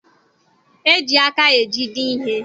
E ji aka ejide ihe.